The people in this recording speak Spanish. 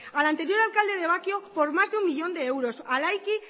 al anterior alcalde de bakio por más de un uno millón de euros al